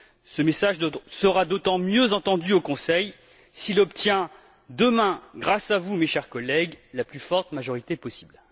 Ce message sera d'autant mieux entendu au Conseil s'il obtient demain grâce à vous, mes chers collègues la plus forte majorité possible.